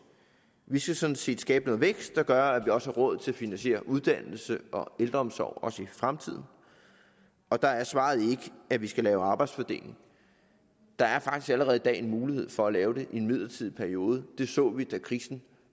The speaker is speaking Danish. vi skal sådan set skabe noget vækst der gør at vi også har råd til at finansiere uddannelse og ældreomsorg også i fremtiden og der er svaret ikke at vi skal lave arbejdsfordeling der er faktisk allerede i dag en mulighed for at lave det i en midlertidig periode det så vi da krisen